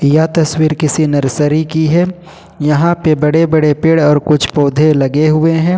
यह तस्वीर किसी नर्सरी की है यहां पे बड़े बड़े पेड़ और कुछ पौधे लगे हुए हैं।